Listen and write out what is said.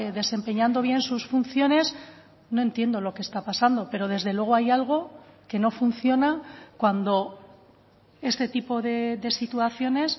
desempeñando bien sus funciones no entiendo lo que está pasando pero desde luego hay algo que no funciona cuando este tipo de situaciones